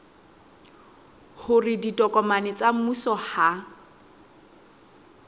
hore ditokomane tsa mmuso ha